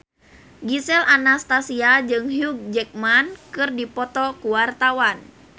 Gisel Anastasia jeung Hugh Jackman keur dipoto ku wartawan